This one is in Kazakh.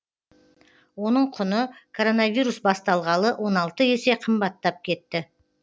оның құны коронавирус басталғалы он алты есе қымбаттап кетті